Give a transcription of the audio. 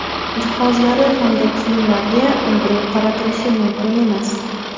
jihozlari hamda kiyimlarga undiruv qaratilishi mumkin emas:.